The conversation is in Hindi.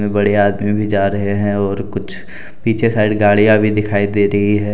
बढ़िया आदमी जा रहे हैं और कुछ पीछे साइड गाड़ियां भी दिखाई दे रही है।